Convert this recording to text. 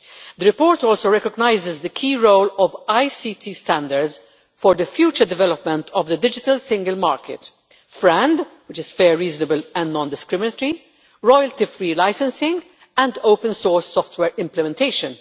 The report also recognises the key role of ICT standards for the future development of the digital single market, FRAND fair, reasonable and non discriminatory royalty free licensing and open source software implementation.